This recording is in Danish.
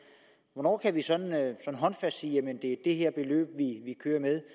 hvornår kan vi håndfast sige at det er det her beløb vi kører med